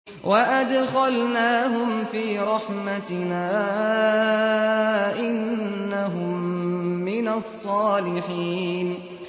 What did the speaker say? وَأَدْخَلْنَاهُمْ فِي رَحْمَتِنَا ۖ إِنَّهُم مِّنَ الصَّالِحِينَ